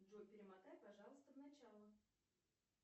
джой перемотай пожалуйста в начало